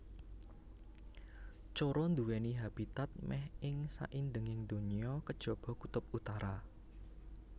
Coro nduwèni habitat mèh ing saindenging donya kejaba kutub utara